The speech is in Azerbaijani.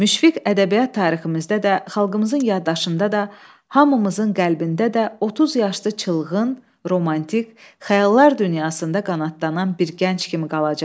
Müşfiq ədəbiyyat tariximizdə də, xalqımızın yaddaşında da, hamımızın qəlbində də 30 yaşlı çılğın, romantik, xəyallar dünyasında qanadlanan bir gənc kimi qalacaq.